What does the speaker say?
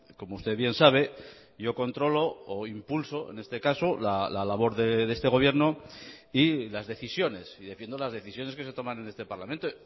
como usted bien sabe yo controlo o impulso en este caso la labor de este gobierno y las decisiones y defiendo las decisiones que se toman en este parlamento